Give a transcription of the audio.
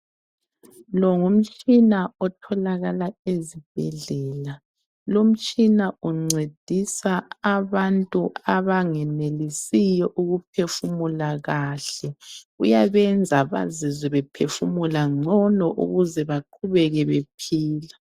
Lo ngumtshina otholakala ezibhedlela. Lomtshina uncedisa abantu abangenelisiyo ukuphefumula kahle. Uyabenza bazizwe bephefumula ngcono ukuze baqhubeke bephila.